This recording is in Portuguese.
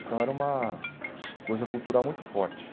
Então, era uma coisa cultural muito forte.